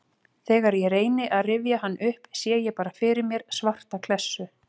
Þegar ég reyni að rifja hann upp sé ég bara fyrir mér svarta klessu.